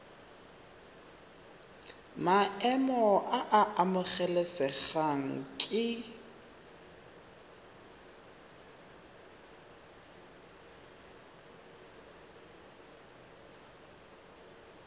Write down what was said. maemo a a amogelesegang ke